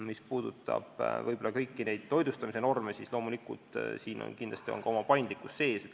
Mis puudutab kõiki neid toitlustamisnorme, siis loomulikult siin on kindlasti ka oma paindlikkus sees.